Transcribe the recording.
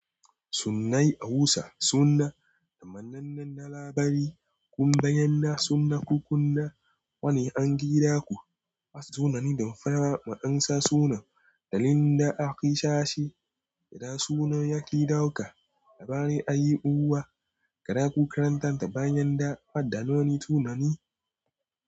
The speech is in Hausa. Sunnayen Hausa sunna taman nan na labari kuma bayan na sunna kukunna wani an gira ku wasu sunna ne don fara ma ansa sunan dalilin da aka yi sashi. Da sunan yake dauka labarin a yi buwa, gara ku karanta ta bayan da adda noni sunna ne.